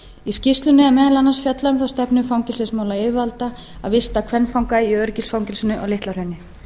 í skýrslunni er meðal annars fjallað um þá stefnu fangelsismálayfirvalda að vista kvenfanga í öryggisfangelsinu á litla hrauni